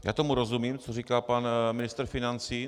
Já tomu rozumím, co říká pan ministr financí.